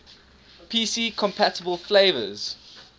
pc compatible flavors